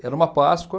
Era uma Páscoa.